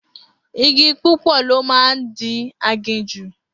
Igi púpọ̀ ló máa ń di aginjù